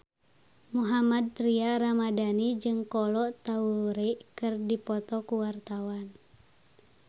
Mohammad Tria Ramadhani jeung Kolo Taure keur dipoto ku wartawan